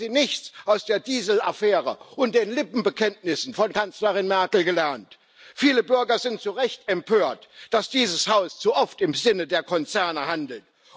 Haben Sie nichts aus der Diesel Affäre und den Lippenbekenntnissen von Kanzlerin Merkel gelernt? Viele Bürger sind zu Recht empört, dass dieses Haus zu oft im Sinne der Konzerne handelt.